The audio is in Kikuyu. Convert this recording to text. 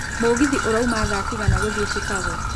mũgithi urauma thaa cigana gũthiĩ Chicago